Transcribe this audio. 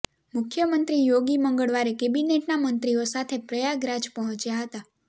મુખ્ય મંત્રી યોગી મંગળવારે કૅબિનેટના મંત્રીઓ સાથે પ્રયાગરાજ પહોંચ્યા હતા